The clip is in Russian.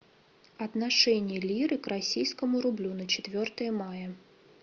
отношение лиры к российскому рублю на четвертое мая